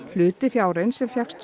hluti fjárins sem fékkst